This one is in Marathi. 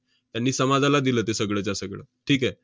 त्यांनी समाजाला दिलं ते सगळंच्या सगळं. ठीक आहे?